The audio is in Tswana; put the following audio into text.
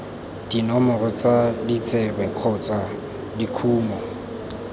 dinomoro tsa ditsebe kgotsa dikumo